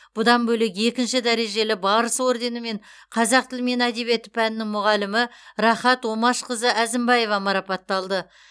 бұдан бөлек екінші дәрежелі барыс орденімен қазақ тілі мен әдебиеті пәнінің мұғалімі рахат омашқызы әзімбаева марапатталды